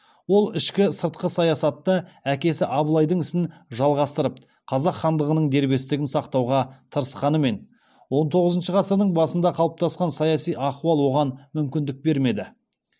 ол ішкі сыртқы саясатта әкесі абылайдың ісін жалғастырып қазақ хандығының дербестігін сақтауға тырысқанымен он тоғызыншы ғасырдың басында қалыптасқан саяси ахуал оған мүмкіндік бермеді